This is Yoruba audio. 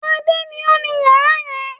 Adé ni ó ní ìyàrá yẹn.